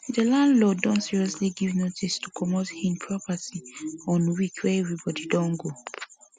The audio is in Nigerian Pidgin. the landlord don suddenly give notice to comot hin property on week wey everybody don go work